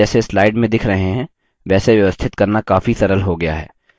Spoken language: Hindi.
बादल जैसे slide में दिख रहे हैं वैसे व्यवस्थित करना काफी सरल हो गया है